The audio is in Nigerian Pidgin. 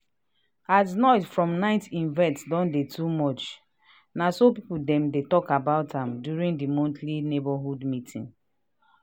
as noise from night event don too much na so people dem talk about am during the monthly neighborhood meeting